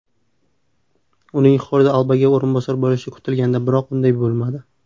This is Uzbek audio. Uning Xordi Albaga o‘rinbosar bo‘lishi kutilgandi, biroq unday bo‘lmadi.